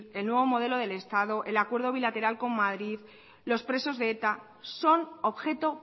el nuevo modelo del estado el acuerdo bilateral con madrid los presos de eta son objeto